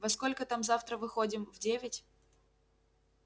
во сколько там завтра выходим в девять